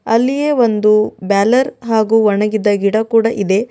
ಅಲ್ಲಿಯೇ ಒಂದು ಬ್ಯಾಲರ್ ಹಾಗು ಒಣಗಿದ ಗಿಡ ಕೂಡ ಇದೆ.